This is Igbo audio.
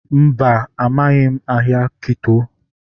Mba, amaghị m ahịa Kito